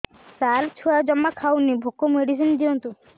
ସାର ଛୁଆ ଜମା ଖାଉନି ଭୋକ ମେଡିସିନ ଦିଅନ୍ତୁ